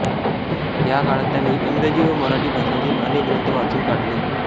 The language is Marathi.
या काळात त्यांनी इंग्रजी व मराठी भाषांतील अनेक ग्रंथ वाचून काढले